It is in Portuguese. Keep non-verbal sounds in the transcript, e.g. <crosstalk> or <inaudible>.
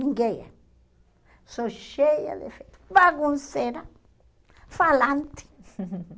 Ninguém é. Sou cheia defeitos, bagunceira, falante. <laughs>